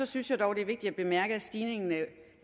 synes jeg dog det er vigtigt at bemærke at stigningen af